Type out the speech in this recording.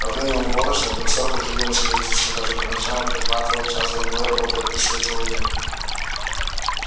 во время уборочной боксёр приходил на строительство даже по ночам и прихватывал час-другой работая при свете луны